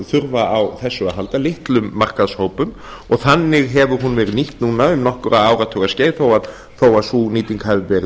þurfa á þessu að halda litlum markaðshópum og þannig hefur hún verið nýtt núna um nokkurra áratuga skeið þó að sú nýting hafi verið